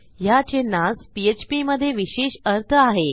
ह्या चिन्हास पीएचपी मधे विशेष अर्थ आहे